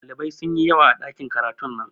Dalibai sunyi yawa a ɗakin karatun nan